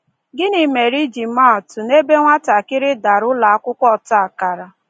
Gịnị mere, iji maa atụ, n'ebe nwatakịrị "dara" ụlọakwụkwọ ọtakara?